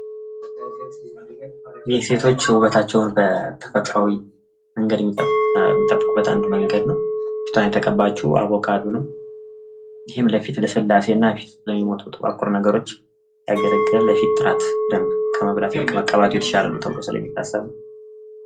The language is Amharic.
የሴቶች ውበታቸውን በተፈጥሯዊ መንገድ የሚጠብቁበት አንዱ መንገድ ነው ። ፊቷን የተቀባችው አቦካዶ ነው ። ይህም ለፊት ልስላሴ እና ፊት ላይ ልሚወጡ ጥቋቁር ነገሮች ያገለግላል ለፊት ጥራት ደንብ ከመብላት መቀባት የተሻለ ነው ተብሎ ስለሚታሰብ ነው ።